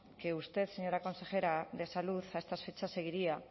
que usted señora consejera de salud a estas fechas seguiría